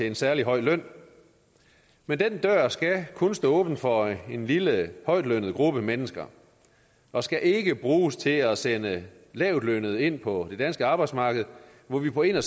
en særlig høj løn men den dør skal kun stå åben for en lille højtlønnet gruppe mennesker og skal ikke bruges til at sende lavtlønnede ind på det danske arbejdsmarked hvor vi på en og